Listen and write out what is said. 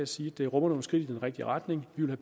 sige at det rummer nogle skridt i den rigtige retning vi vil